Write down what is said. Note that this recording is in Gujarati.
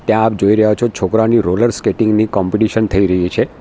આ આપ જોય રહ્યા છો છોકરાઓની રોલર સ્કેટિંગ ની કૉમપિટિશન થઈ રહી છે.